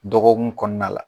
Dɔgɔkun kɔnɔna la